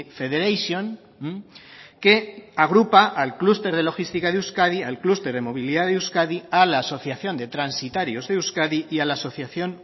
federation que agrupa al clúster de logística de euskadi al clúster de movilidad de euskadi a la asociación de transitarios de euskadi y a la asociación